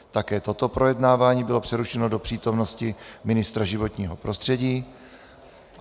Také toto projednávání bylo přerušeno do přítomnosti ministra životního prostředí.